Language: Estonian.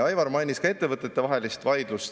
Aivar mainis ka ettevõtetevahelist vaidlust.